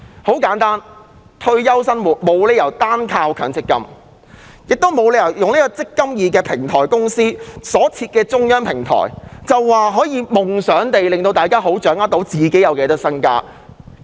然而，退休生活沒有理由單靠強積金支持，也沒有理由讓"積金易"平台公司設立中央電子平台，便夢想可方便大家掌握自己有多少資產。